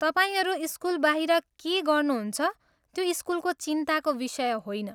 तपाईँहरू स्कुलबाहिर के गर्नुहुन्छ त्यो स्कुलको चिन्ताको विषय होइन।